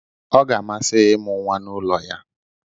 Ọ ga-amasị ya ịmụ nwa n'ụlọ ya.